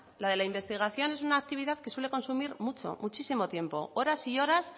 la de la investigación es una actividad que suele consumir mucho muchísimo tiempo horas y horas